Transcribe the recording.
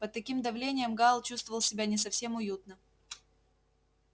под таким давлением гаал чувствовал себя не совсем уютно